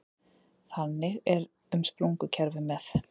Þannig er um sprungukerfi með